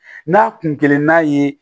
N'a kun kelen n'a ye